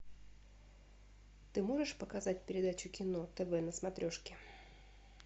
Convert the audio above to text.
ты можешь показать передачу кино тв на смотрешке